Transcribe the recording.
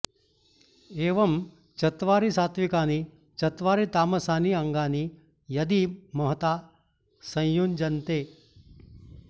एवं चत्वारि सात्त्विकानि चत्वारि तामसानि अङ्गानि यदि महता संयुज्यन्ते